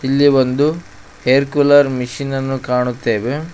ಇಲ್ಲಿ ಒಂದು air cooler ಮೆಷಿನನ್ನು ಕಾಣುತ್ತೇವೆ.